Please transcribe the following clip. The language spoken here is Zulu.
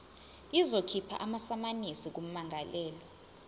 izokhipha amasamanisi kummangalelwa